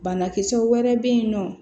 Banakisɛ wɛrɛ bɛ yen nɔ